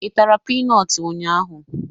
I tara pinọt ụnyaahụ?